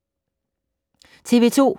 TV 2